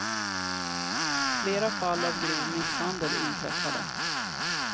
Flera fall av grov misshandel inträffade.